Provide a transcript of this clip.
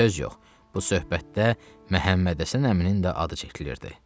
Söz yox, bu söhbətdə Məhəmmədhəsən əminin də adı çəkilirdi.